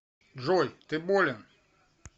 джой ты болен